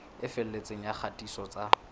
e felletseng ya kgatiso tsa